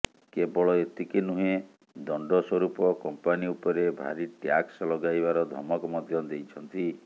କେବଳ ଏତିକି ନୁହେଁ ଦଣ୍ଡ ସୂରୁପ କମ୍ପାନୀ ଉପରେ ଭାରୀ ଟ୍ୟାକ୍ସ ଲଗାଇବାର ଧମକ ମଧ୍ୟ ଦେଇଛନ୍ତି